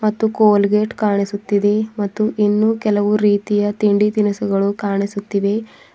ಮತ್ತು ಕೋಲ್ಗೇಟ್ ಕಾಣಿಸುತ್ತಿದೆ ಮತ್ತು ಇನ್ನೂ ಕೆಲವು ರೀತಿಯ ತಿಂಡಿ ತಿನಿಸುಗಳು ಕಾಣಿಸುತ್ತಿವೆ.